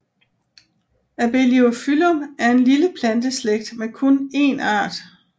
Abeliophyllum er en lille planteslægt med kun én art